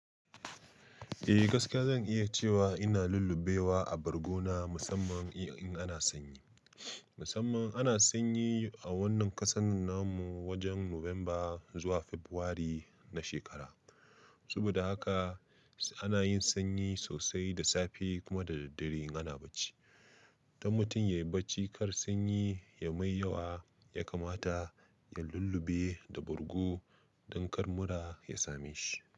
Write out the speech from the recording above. Eh gaskiya zan iya cewa ina lullubewa a bargo na musamman in ana sanyi. Musamman ana sanyi a wannan ƙasar na mu wajen November zuwa February na shekara. Saboda haka ana yin sanyi sosai da safe kuma da daddare in ana bacci. Don mutum ya yi bacci, kar sanyi ya mai yawa ya kamata ya lullube da bargo don kar mura ya same shi.